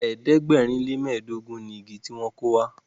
ẹ̀ẹ́dẹ̀gbẹ̀rin le mẹdogun ní ìgi tí wón kọ wà.